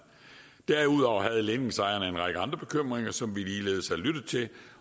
derudover havde ledningsejerne en række andre bekymringer som vi ligeledes har lyttet til